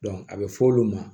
a bɛ f'olu ma